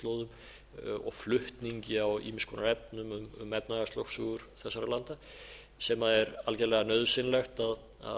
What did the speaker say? norðurslóðum og flutningi á ýmiss konar efnum um efnahagslögsögur þessara landa sem er algjörlega nauðsynlegt að